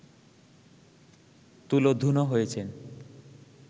তুলোধুনো হয়েছেন